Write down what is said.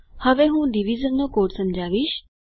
હવે હું ડિવિઝનનો કોડ સમજાવીશ